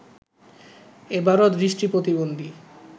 এবারো দৃষ্টি প্রতিবন্ধী